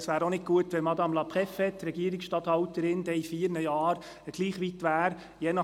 Es wäre auch nicht gut, wenn die Regierungsstatthalterin in vier Jahren gleich weit wäre wie heute: